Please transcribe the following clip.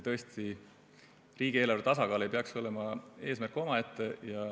Tõesti, riigieelarve tasakaal ei peaks olema eesmärk omaette.